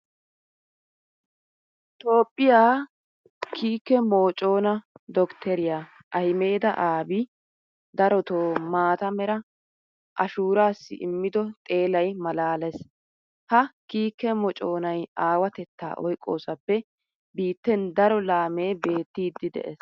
Toophphiya kiike moconaa doktteriya ahimeda abiyi darotoo maata mera ashuuraassi immido xeelay maalaalees. Ha kiike moconay aawatettaa oyqqoosappe biitten daro laamee beettiiddi de'ees.